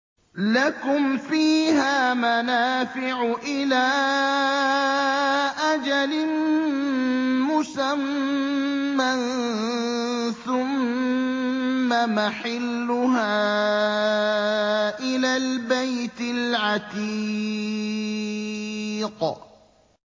لَكُمْ فِيهَا مَنَافِعُ إِلَىٰ أَجَلٍ مُّسَمًّى ثُمَّ مَحِلُّهَا إِلَى الْبَيْتِ الْعَتِيقِ